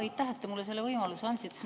Aitäh, et te mulle selle võimaluse andsite!